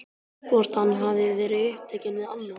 Hvort hann hafi verið upptekinn við annað?